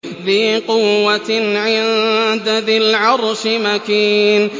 ذِي قُوَّةٍ عِندَ ذِي الْعَرْشِ مَكِينٍ